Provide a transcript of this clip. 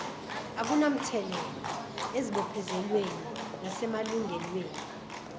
akunamthelela ezibophezelweni nasemalungelweni